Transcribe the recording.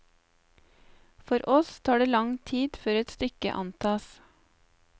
For oss tar det lang tid før et stykke antas.